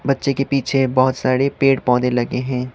बच्चे के पीछे बहोत सारे पेड़ पौधे लगे हैं।